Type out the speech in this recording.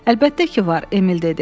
Əlbəttə ki var, Emil dedi.